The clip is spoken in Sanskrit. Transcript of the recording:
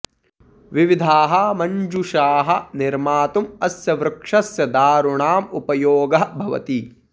विविधाः मञ्जूषाः निर्मातुम् अस्य वृक्षस्य दारुणाम् उपयोगः भवति